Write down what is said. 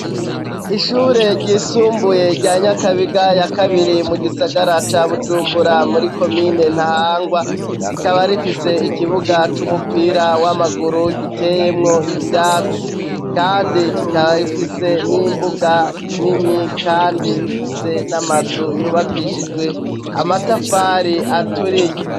Ishure ryisumbuye rya Nyakabiga ya kabiri, mu gisagara ca Bujumbura, muri komine Ntahangwa, rikaba rifise ikibuga c'umupira w'amaguru giteyemwo ivyatsi. Kandi rikaba rifise n'imbuga nini kandi rifise n'amazu yubakishijwe amatafari aturiye.